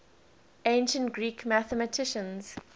ancient greek mathematicians